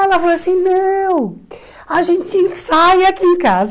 Ela falou assim, não, a gente ensaia aqui em casa.